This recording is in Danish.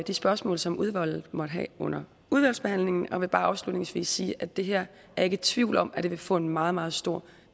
de spørgsmål som udvalget måtte have under udvalgsbehandlingen og jeg vil bare afslutningsvis sige at det her er jeg ikke i tvivl om vil få en meget meget stor